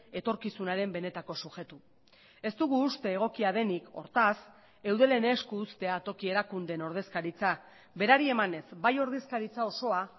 etorkizunaren benetako subjektu ez dugu uste egokia denik hortaz eudelen esku uztea toki erakundeen ordezkaritza berari emanez bai ordezkaritza osoa